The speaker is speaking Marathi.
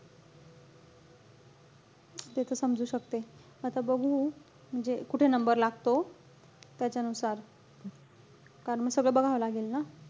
ते त समजू शकते. आता बघू, म्हणजे कुठे number लागतो. त्यांच्यानुसार कारण म सगळं बघावं लागेल ना.